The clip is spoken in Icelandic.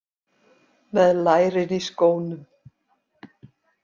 Með lærin í skónum.